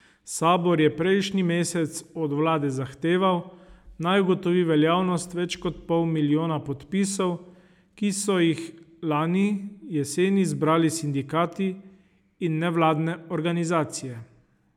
Sabor je prejšnji mesec od vlade zahteval, naj ugotovi veljavnost več kot pol milijona podpisov, ki so jih lani jeseni zbrali sindikati in nevladne organizacije.